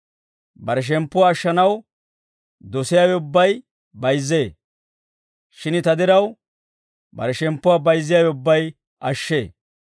Bare shemppuwaa ashshanaw dosiyaawe ubbay bayizzee; shin ta diraw bare shemppuwaa bayizziyaawe ubbay ashshee.